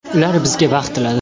Ular bizga baxt tiladi.